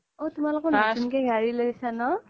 অ তোমালোকৰ নতুন কে গাৰি লৈছে ন